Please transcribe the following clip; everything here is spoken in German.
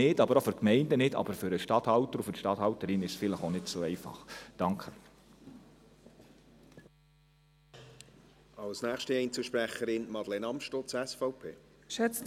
sie sind es nicht für die Gemeinden, aber für die Statthalter und Statthalterinnen sind sie vielleicht auch nicht so einfach.